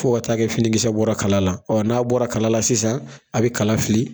Fa ka ta'a kɛ finikisɛ bɔra kala la ɔ n'a bɔra kala la sisan a bɛ kala fili